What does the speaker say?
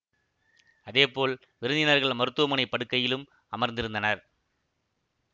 அதே போல் விருந்தினர்கள் மருத்துவமனை படுக்கையிலும் அமர்ந்திருந்தனர்